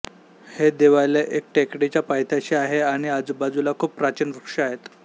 हे देवालय एका टेकडीच्या पायथ्याशी आहे आणि आजूबाजूला खूप प्राचीन वृक्ष आहेत